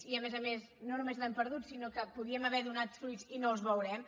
i a més a més no només l’hem perdut sinó que podíem haver donat fruits i no els veurem